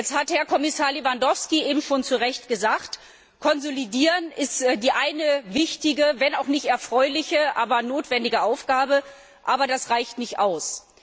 Eben hat Herr Kommissar Lewandowski schon zu Recht gesagt Konsolidieren ist die eine wichtige wenn auch nicht erfreuliche, aber notwendige Aufgabe, aber das reicht nicht aus.